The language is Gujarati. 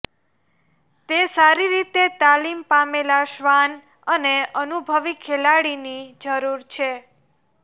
તે સારી રીતે તાલીમ પામેલા શ્વાન અને અનુભવી ખેલાડીની જરૂર છે